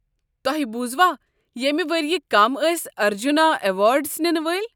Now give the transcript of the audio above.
تۄہہ بوُزوا ییٚمہ ؤریہ کم ٲسۍ ارجُن ایوارڈز نِنہٕ وٲلۍ؟